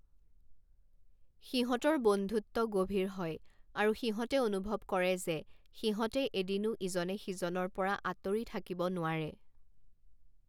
সিহঁতৰ বন্ধুত্ব গভীৰ হয় আৰু সিহঁতে অনুভৱ কৰে যে সিহঁতে এদিনো ইজনে সিজনৰ পৰা আঁতৰি থাকিব নোৱাৰে।